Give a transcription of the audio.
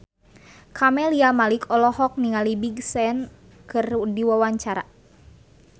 Camelia Malik olohok ningali Big Sean keur diwawancara